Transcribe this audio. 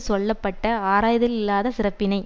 சொல்ல பட்ட ஆராய்தலில்லாத சிறப்பினை